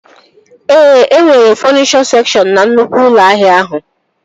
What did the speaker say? Ee, e nwere fọnichọ sekshọn na nnukwu ụlọ ahịa ahụ